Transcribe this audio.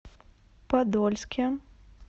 подольске